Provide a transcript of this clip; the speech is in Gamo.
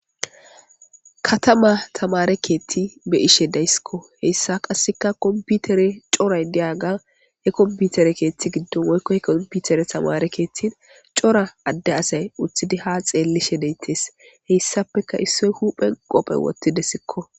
Katama tamare keethti be ishe daysskko heyssa qasseka komputere coray diaga he komputere keeththi giddon woykkohe kompiutere tamare keethtin cora adde asay uthidi ha xeellishe deyttes heyssapeka issoy huphen qophe wottide sikko.